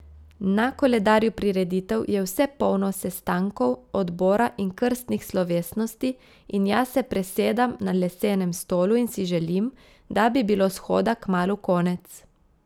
Na koledarju prireditev je vse polno sestankov odbora in krstnih slovesnosti in jaz se presedam na lesenem stolu in si želim, da bi bilo shoda kmalu konec.